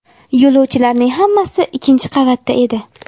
Yo‘lovchilarning hammasi ikkinchi qavatda edi.